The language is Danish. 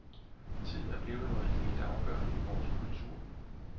Tid er blevet noget helt afgørende i vores kultur.